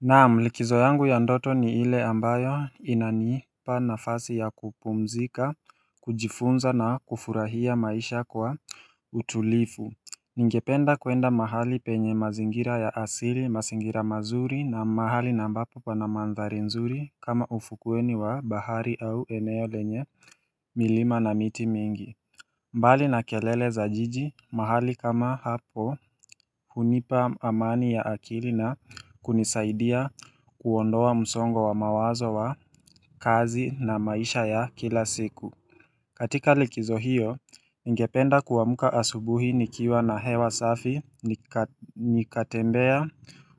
Naam, likizo yangu ya ndoto ni ile ambayo inanipa nafasi ya kupumzika, kujifunza na kufurahia maisha kwa utulifu. Ningependa kwenda mahali penye mazingira ya asili, mazingira mazuri na mahali na ambapo pana mandhari nzuri kama ufukueni wa bahari au eneo lenye milima na miti mingi. Mbali na kelele za jiji mahali kama hapo unipa amani ya akili na kunisaidia kuondoa msongo wa mawazo wa kazi na maisha ya kila siku. Katika likizo hiyo ningependa kuamka asubuhi nikiwa na hewa safi nikatembea